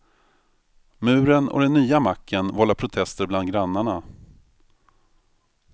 Muren och den nya macken vållar protester bland grannarna.